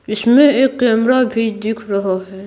इसमें एक कैमरा भी दिख रहा है।